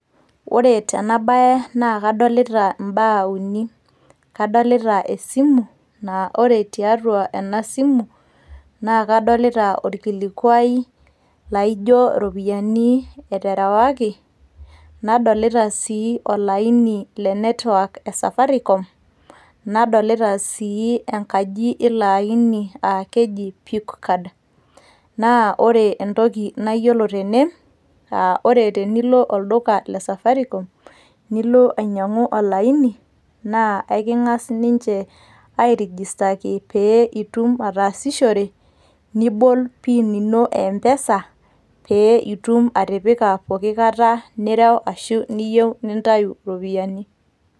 Ore tenabae naa kadolita mbaa uni, kadolita esimu naa ore tiatua ena simu naa kadolita olkilikuai laijo iropiyiani eterewaki. Nadolita sii olaini le network e Safaricom nadolita sii enkaji eilo aini aa keji PUK card. Naa ore entoki nayiolo tene, ore tenilo olduka le Safaricom nilo ainyang'u olaini, naa eking'as ninche airigistaki pee itum ataasishore, nibol PIN ino e MPESa pee itum atipika pooki kata nireu ashu niyieu nintayu iropiyiani.